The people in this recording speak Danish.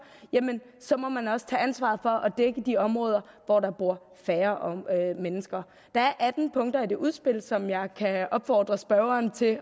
jamen så må man også tage ansvaret for at dække de områder hvor der bor færre mennesker der er atten punkter i det udspil som jeg kan opfordre spørgeren til at